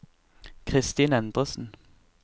Christin Endresen